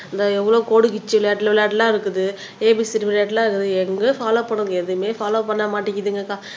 இந்தா எவ்வளவு கோடுகிச்சு விளையாட்டு விளையாட்டுலாம் இருக்குது ஏ பி சி டி விளையாட்டுலாம் எங்கயும் பால்லோவ் பண்ணுங்க எதுவுமே பால்லோவ் பண்ண மாட்டிங்குதுங்கக்கா